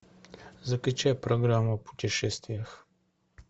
закачай программу о путешествиях